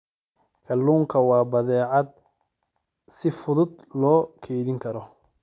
Kalluunku waa badeecad si fudud loo kaydin karo.